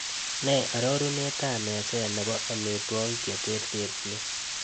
Ne arorunetab meset ne po amitwogik cheterterchin